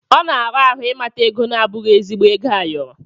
Ọ na-ara ahụ ịmata ego na-abụghị ezigbo ego ayọrọ.